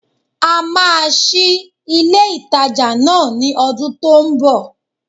A máa sí ilé ìtajà náà ní odún tó n bò